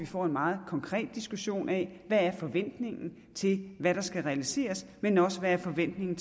får en meget konkret diskussion af hvad forventningen er til hvad der skal realiseres men også hvad forventningen